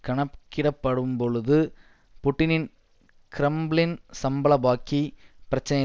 கணக்கிடப்படும்பொழுது புட்டினின் கிரெம்ளின் சம்பள பாக்கி பிரச்சினையை